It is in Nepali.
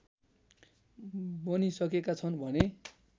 बनिसकेका छन् भने